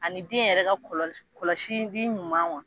Ani den yɛrɛ ka kɔlɔsi, kɔlɔsili ɲuman